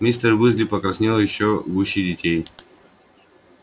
мистер уизли покраснел ещё гуще детей